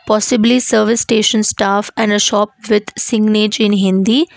possibly service station staff and a shop with signage in hindi.